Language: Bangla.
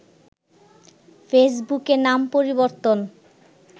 ফেসবুকে নাম পরিবর্তন